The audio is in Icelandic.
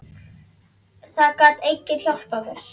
Það gat enginn hjálpað mér.